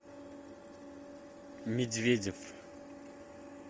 медведев